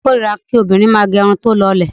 Ọ̀rẹ́mi kórira kí obìnrin máà gẹ irun tí ó lọlẹ̀.